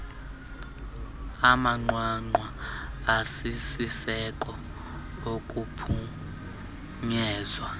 amanqwanqwa asisiseko okuphunyezwa